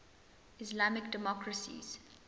islamic democracies